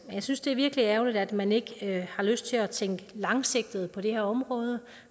og jeg synes det er virkelig ærgerligt at man ikke har lyst til at tænke langsigtet på det her område